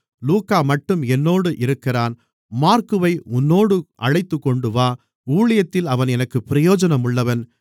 லூக்காமட்டும் என்னோடு இருக்கிறான் மாற்குவை உன்னோடு அழைத்துக்கொண்டுவா ஊழியத்தில் அவன் எனக்குப் பிரயோஜனமுள்ளவன்